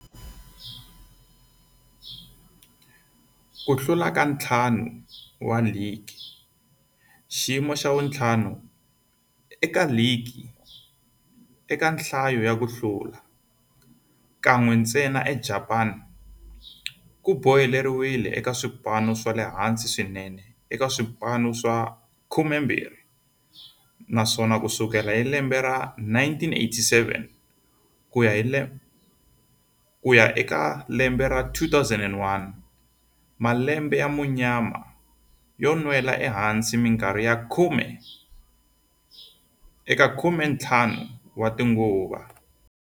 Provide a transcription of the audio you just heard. Ku hlula ka ntlhanu wa ligi xiyimo xa vu 5 eka ligi eka nhlayo ya ku hlula, kan'we ntsena eJapani ku boheleriwile eka swipano swa le hansi swinene eka swipano swa 12, naswona ku sukela hi 1987 ku ya eka 2001, malembe ya munyama yo nwela ehansi minkarhi ya khume eka 15 tinguva.